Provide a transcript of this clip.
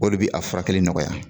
O de bɛ a furakɛli nɔgɔya.